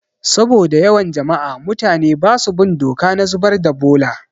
Saboda yawan jama'a, mutane basu bin doka na zubar da bola